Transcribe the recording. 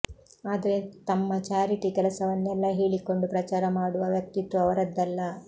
ಆದ್ರೆ ತಮ್ಮ ಚಾರಿಟಿ ಕೆಲಸವನ್ನೆಲ್ಲ ಹೇಳಿಕೊಂಡು ಪ್ರಚಾರ ಪಡೆಯುವ ವ್ಯಕ್ತಿತ್ವ ಅವರದ್ದಲ್ಲ